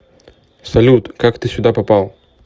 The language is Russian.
салют как ты сюда попал